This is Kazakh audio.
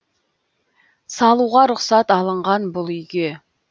салуға рұқсат алынған бұл үйге